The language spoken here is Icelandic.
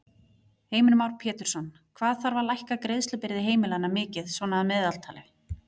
Heimir Már Pétursson: Hvað þarf að lækka greiðslubyrði heimilanna mikið svona að meðaltali?